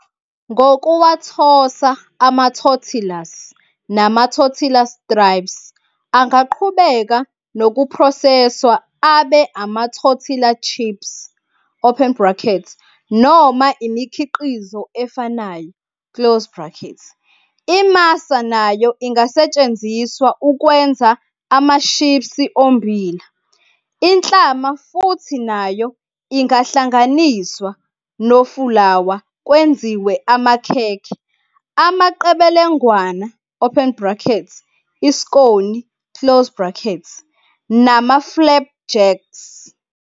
Ngokuwathosa, ama-tortillas nama-tortilla strips angaqhubeka nokuphroseswa abe ama-tortilla chips, open bracket, noma imikhiqizo efanayo, close bracket. IMasa nayo ingasetshenziswa ukwenza amashipsi ommbila. Inhlama futhi nayo ingahlanganiswa nofulawa kwenziwe amakhekhe, amaqebelengwana, oepn bracket, iskoni, close bracket, nama-flapjacks.